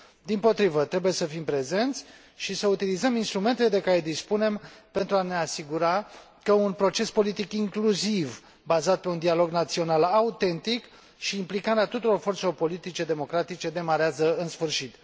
Dimpotrivă, trebuie să fim prezenți și să utilizăm instrumentele de care dispunem, pentru a ne asigura că un proces politic incluziv, bazat pe dialog național autentic și implicarea tuturor forțelor politice democratice demarează în sfârșit.